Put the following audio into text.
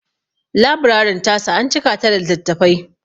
Laburarin ta su an cika ta da littattafai.